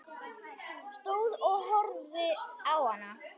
Stóð og horfði á hana.